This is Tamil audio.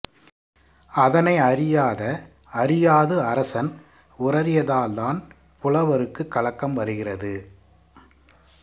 அதனை அறியாத அறியாது அரசன் உரறியதால்தான் புலவருக்குக் கலக்கம் வருகிறது